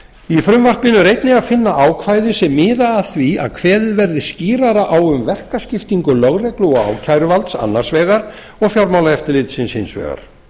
í frumvarpinu er einnig að finna ákvæði sem miða að því að kveðið verði skýrar á um verkaskiptingu lögreglu og ákæruvalds annars vegar og fjármálaeftirlitsins hins vegar